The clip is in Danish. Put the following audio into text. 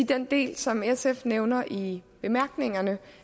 den del som sf nævner i bemærkningerne